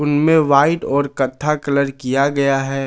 पीले व्हाइट और कत्था कलर किया गया है।